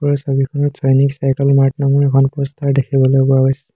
ওপৰৰ ছবিখনত সৈনিক চাইকেল মাৰ্ট নামৰ এখন প'ষ্টাৰ দেখিবলৈ পোৱা গৈছে।